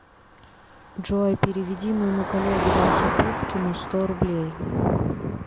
джой переведи моему коллеге васе пупкину сто рублей